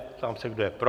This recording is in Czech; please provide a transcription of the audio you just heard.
Ptám se, kdo je pro.